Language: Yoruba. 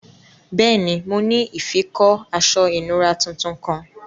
Bẹẹni, mo ni ifikọ̀ aṣọ̀ ìnùra tuntun kan.